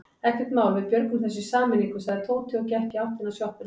Ekkert mál, við björgum þessu í sameiningu sagði Tóti og gekk í áttina að sjoppunni.